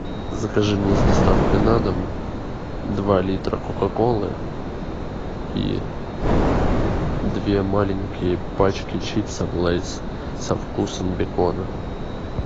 закажи мне с доставкой на дом два литра кока колы и две маленькие пачки чипсов лейс со вкусом бекона